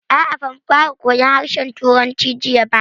A'a, ba mu fara koyan harshen Turanci jiya ba